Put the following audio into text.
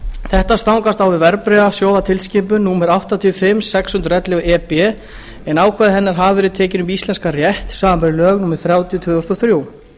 þetta stangast á við verðbréfasjóðatilskipun númer áttatíu og fimm sex hundruð og ellefu e b en ákvæði hennar hafa verið tekin upp í íslenskan rétt samanber lög númer þrjátíu tvö þúsund og þrjú